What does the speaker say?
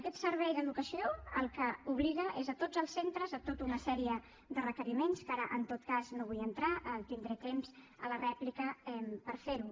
aquest servei d’educació el que obliga és a tots els centres a tota una sèrie de requeriments que ara en tot cas no hi vull entrar tindré temps a la rèplica per fer ho